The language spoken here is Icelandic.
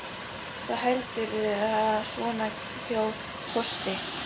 Hvað heldurðu að svona hjól kosti?